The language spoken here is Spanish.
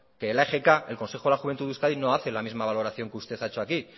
que la egk el consejo de la juventud de euskadi no hace la misma valoración que usted ha hecho aquí